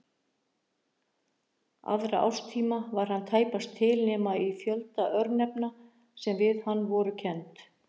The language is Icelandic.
Aðra árstíma var hann tæpast til nema í fjölda örnefna sem við hann voru kennd.